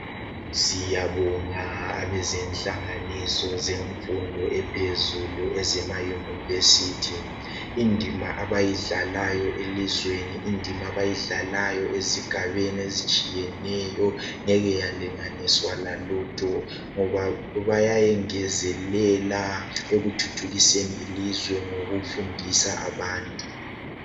Siyabonga abezenhlanganiso zemfundo ephezulu ezema university. Indima abayidlalayo elizweni, indima abayidlalayo ezigabeni ezitshiyeneyo ngeke yalinganiswa lalutho, ngoba bayayengezelela ekuthuthukiseni ilizwe ngokufundisa abantu.